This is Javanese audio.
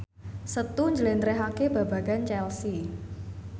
Setu njlentrehake babagan Chelsea